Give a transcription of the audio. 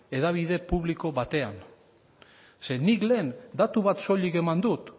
hedabide publiko batean nik lehen datu bat soilik eman dut